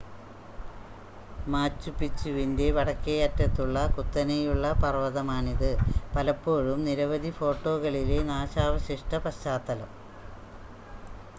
മാച്ചുപിച്ചുവിൻ്റെ വടക്കേയറ്റത്തുള്ള കുത്തനെയുള്ള പർവ്വതമാണിത് പലപ്പോഴും നിരവധി ഫോട്ടോകളിലെ നാശാവശിഷ്ട പശ്ചാത്തലം